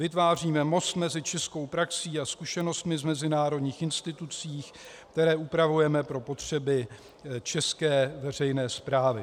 Vytváříme most mezi českou praxí a zkušenostmi z mezinárodních institucí, které upravujeme pro potřeby české veřejné správy."